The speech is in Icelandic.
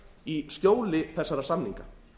í skjóli þessara samninga